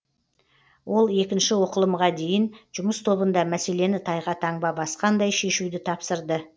ол екінші оқылымға дейін жұмыс тобында мәселені тайға таңба басқандай шешуді тапсырды